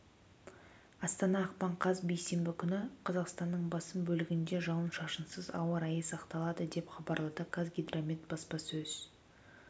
астана ақпан қаз бейсенбі күні қазақстанның басым бөлігінде жауын-шашынсыз ауа райы сақталады деп хабарлады қазгидромет баспасөз